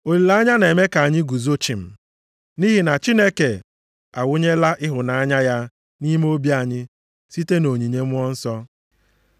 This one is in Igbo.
Olileanya na-eme ka anyị guzo chịm, nʼihi na Chineke awụnyela ịhụnanya ya nʼime obi anyị site nʼonyinye Mmụọ Nsọ.